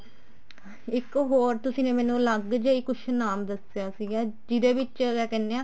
ਇੱਕ ਹੋਰ ਤੁਸੀਂ ਨੇ ਮੈਨੂੰ ਅਲੱਗ ਜਾ ਹੀ ਕੁੱਛ ਨਾਮ ਦੱਸਿਆ ਸੀਗਾ ਜਿਹਦੇ ਵਿੱਚ ਕਿਆ ਕਹਿਨੇ ਆ